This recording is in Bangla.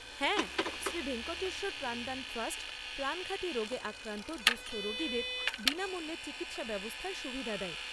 হ্যাঁ, শ্রী ভেঙ্কটেশ্বর প্রাণদান ট্রাস্ট প্রাণঘাতী রোগে আক্রান্ত দুঃস্থ রোগীদের বিনামূল্যে চিকিৎসা ব্যবস্থার সুবিধা দেয়।